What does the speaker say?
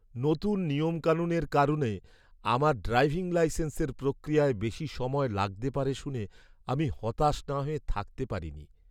নতুন নিয়মকানুনের কারণে আমার ড্রাইভিং লাইসেন্সের প্রক্রিয়ায় বেশি সময় লাগতে পারে শুনে আমি হতাশ না হয়ে থাকতে পারিনি।